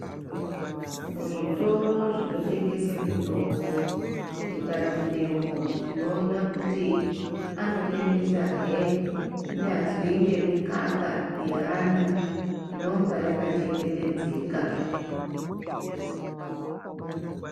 Muzviotoro Zvinotengese mitombo tikapindemwo tinoona kuti anotengesa he kunyazwi ngemikaka yaana inenga yakachengetedzeka.